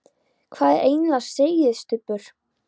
Hvað er eiginlega á seyði, Stubbur?